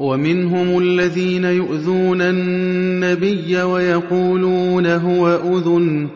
وَمِنْهُمُ الَّذِينَ يُؤْذُونَ النَّبِيَّ وَيَقُولُونَ هُوَ أُذُنٌ ۚ